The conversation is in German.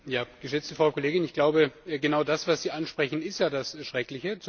Geschätzte Frau Kollegin, ich glaube, genau das, was Sie ansprechen, ist ja das Schreckliche.